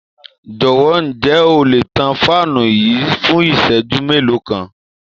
Jowo, ǹjẹ́ o le tan fáànù yìí fún ìṣẹ́jú mélòó kan?